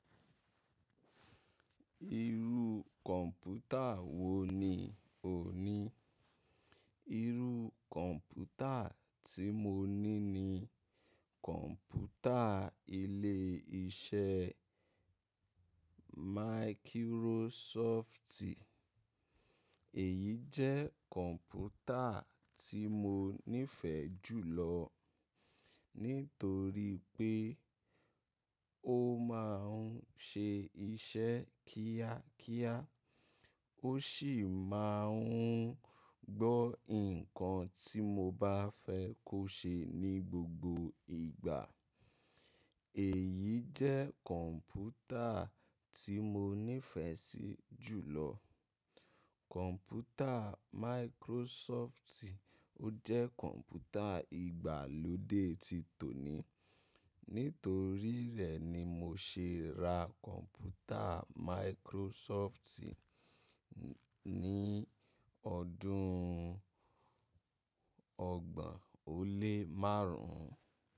Irú kọ̀ǹpútà wo ni ò ní? Irú kọ̀ǹpútà tí mo ní ni kọ̀ǹpútà ilé iṣẹ́ Microsoft. Èyí jẹ́ kọ̀ǹpútà tí mo nífẹ̀ẹ́ jù lọ nítorí pé ó máa ń ṣe iṣẹ́ kíákíá, ó ṣì máa ń gbọ́ nǹkan tí mo bá fẹ́ kó ṣe ní gbogbo ìgbà. Èyí jẹ́ kọ̀ǹpútà tí mo nífẹ̀ẹ́ sí jù lọ. Kọ̀ǹpútà Microsoft jẹ́ kọ̀ǹpútà ìgbàlódé ti tòní. Nítorí rẹ̀ ni mo ṣe ra kọ̀ǹpútà Microsoft ní ọdún ọgbọ̀n ó lé márùn ún.